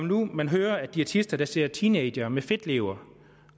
når man hører at diætister ser teenagere med fedtlever